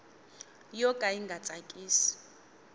yo ka yi nga tsakisi